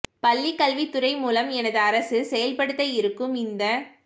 பள்ளிக் கல்வித் துறை மூலம் எனது அரசு செயல்படுத்த இருக்கும் இந்தத்